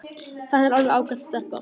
Þetta er alveg ágæt stelpa.